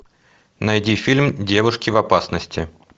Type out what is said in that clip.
найди фильм девушки в опасности